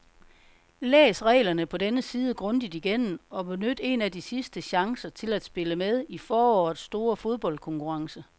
Læs reglerne på denne side grundigt igennem og benyt en af de sidste chancer til at spille med i forårets store fodboldkonkurrence.